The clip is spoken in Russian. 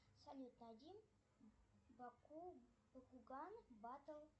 салют найди бакуган батл